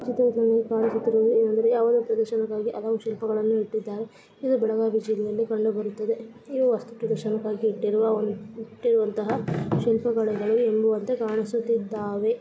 ಚಿತ್ರದಲ್ಲಿ ಕಾಣಿಸುತ್ತಿರುವ ಹಾಗೆಹಲೋ ಶಿಲ್ಪಗಳನ್ನು ಇಟ್ಟಿದ್ದಾರೆ ಇದು ಬೆಳಗಾವಿ ಜಿಲ್ಲೆಯಲ್ಲಿ ಕಂಡು ಬರುತ್ತದೆ ಇದು ವಸ್ತು ಪ್ರದರ್ಶನಕ್ಕಾಗಿ ಇಟ್ಟಿರುವಂತಹ ಶಿಲ್ಪಿಗಳು ಎಂಬಂತೆ ಕಾಣಿಸುತ್ತಿದ್ದಾರೆ.